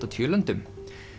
og níu löndum